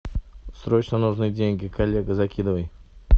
срочно нужны деньги коллега закидывай